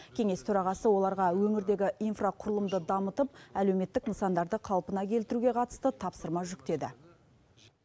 кеңес төрағасы оларға өңірдегі инфрақұрылымды дамытып әлеуметтік нысандарды қалпына келтіруге қатысты тапсырма жүктеді